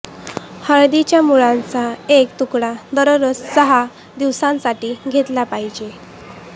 हळदीच्या मुळाचा एक तुकडा दररोज सहा दिवसांसाठी घेतला पाहिजे